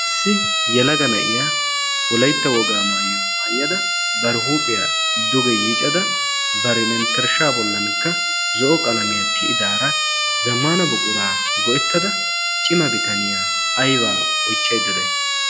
saissi yalaga na'iya wolaitta wogaa maayyo maayyada bar huuphiyaa duge yiicada barimenttershsha bollankka zo'o qalamiyaa tiyidaara zammana buquraa go'ettada cima bitaniyaa aybaa oychchayddada